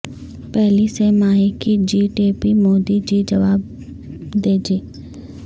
پہلی سہ ماہی کی G D P Modi ji جواب دیجئے